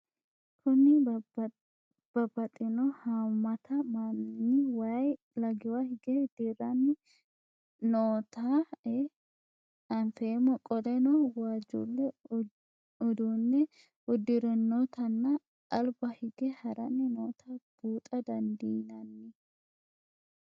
Kuni babaxino haamata manni wayi lagiwa hige dirani nootae anfemo qoleno wajule udune udirinotana aliba hige harani nootae buuxa dandinanni?